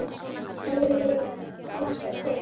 Þú veist ekki hvað ég hlakka til.